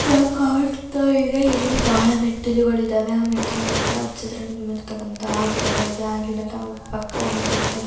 ಕಾಡು ತರ ಇದೆ ಇಲ್ಲಿ ಬಹಳ ಮೆಟ್ಟಿಲುಗಳಿವೆ ಮೆಟ್ಟಿಲು ಹತ್ತಿರ ಗಿಡಗಳಿದೆ ಆ ಗಿಡದ ಪಕ್ಕ ಒಂದು ದೋಡದ --